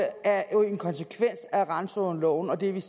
randzonekortene